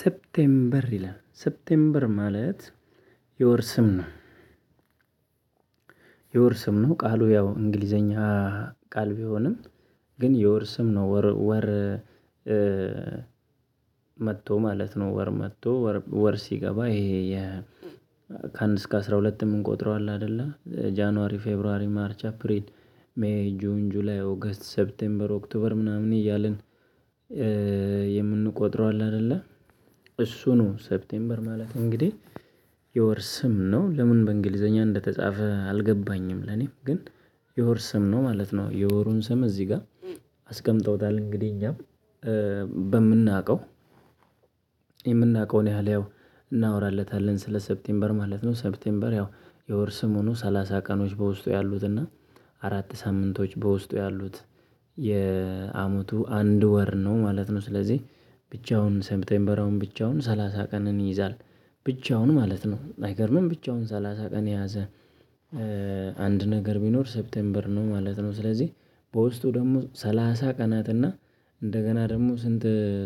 ሰፕቴምበር ይላል ሰፕቴምበር ማለት የወር ስም ነው። የወር ስም ነው ቃሉ ያው እንግሊዘኛ ቃል ቢሆንም ግን የወር ስም ነው ወር ወር። መጥቶ ማለት ነው። ወር መጥቶ ወር ሲገባ ይሄ የ ከአንድ እስከ አስራ ሁለት የምንቆጥረው አለ አይደለ ጃንዋሪ ፌብሩዋሪ ማርች አፕሪል ሜይ ጁን ጁላይ ኦገስት ሴፕቴምበር ኦክቶበር ምናምን እያልን። የምንቆጥረው አለ አይደለ እሱ ነው ሰፕቴምበር ማለት እንግዲህ የወር ስም ነው። ለምን በእንግሊዘኛ እንደተጻፈ አልገባኝም። ለኔ ግን የወር ስም ነው ማለት ነው። የወሩን ስም እዚህ ጋር አስቀምጠውታል። እንግዲህ እኛ በምናውቀው የምናውቀውን ያህል ያው እናወራለታለን ስለ ሰፕቴምበር ማለት ነው። ሰፕቴምበር ያው የወር ስም ሆኖ ሰላሳ ቀኖች በውስጡ ያሉት እና አራት ሳምንቶች በውስጡ ያሉት የአመቱ አንድ ወር ነው ማለት ነው። ስለዚህ ብቻውን ሴፕቴምበር አሁን ብቻውን ሰላሳ ቀን ይዛል። ብቻውን ማለት ነው። አይገርምም ብቻውን ሰላሳ ቀን የያዘ አንድ ነገር ቢኖር ሴፕቴምበር ነው ማለት ነው። ስለዚህ በውስጡ ደግሞ ሰላሳ ቀናት እና እንደገና ደግሞ ስንት